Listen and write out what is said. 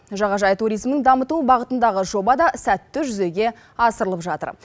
жағажай туризмін дамыту бағытындағы жоба да сәтті жүзеге асырылып жатыр